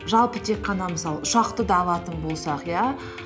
жалпы тек қана мысалы ұшақты да алатын болсақ иә